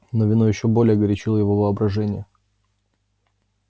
но вино ещё более горячило его воображение